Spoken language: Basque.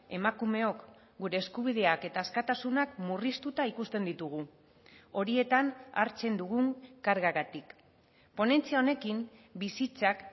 emakumeok gure eskubideak eta askatasunak murriztuta ikusten ditugu horietan hartzen dugun kargagatik ponentzia honekin bizitzak